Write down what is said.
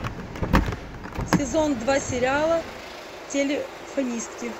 сезон два сериала телефонистки